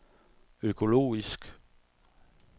økologisk